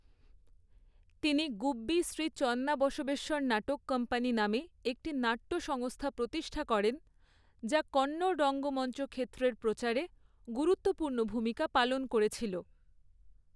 তিনি গুব্বি শ্রী চন্নাবসবেশ্বর নাটক কোম্পানি নামে একটি নাট্য সংস্থা প্রতিষ্ঠা করেন, যা কন্নড় রঙ্গমঞ্চ ক্ষেত্রের প্রচারে গুরুত্বপূর্ণ ভূমিকা পালন করেছিল।